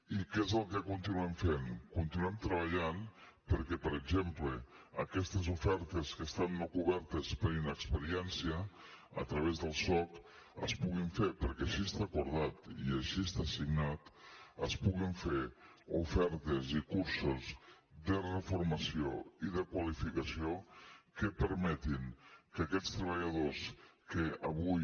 i què és el que continuem fent continuem treballant perquè per exemple aquestes ofertes que estan no cobertes per inexperiència a través del soc es puguin fer perquè així està acordat i així està signat es puguin fer ofertes i cursos de reformació i de qualificació que permetin que aquests treballadors que avui